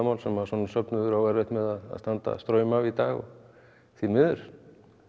sem að svona söfnuður á erfitt með að standa straum af í dag því miður